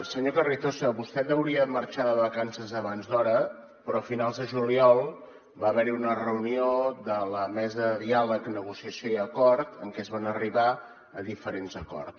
senyor carrizosa vostè deuria marxar de vacances abans d’hora però a finals de juliol va haver hi una reunió de la mesa de diàleg negociació i acord en què es va arribar a diferents acords